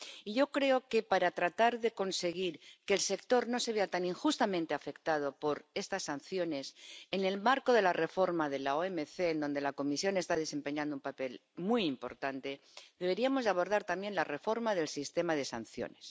Y yo creo que, para tratar de conseguir que el sector no se vea tan injustamente afectado por estas sanciones, en el marco de la reforma de la OMC —en la que la Comisión está desempeñando un papel muy importante— deberíamos abordar también la reforma del sistema de sanciones.